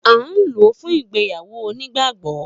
A nlo fún ìgbéyàwó onígbàgbó